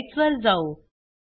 slides वर जाऊ